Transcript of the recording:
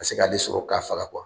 Ka se k'ale sɔrɔ k'a faga